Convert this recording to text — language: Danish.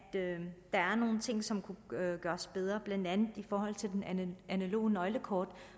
der er nogle ting som godt kunne gøres bedre blandt andet i forhold til det analoge nøglekort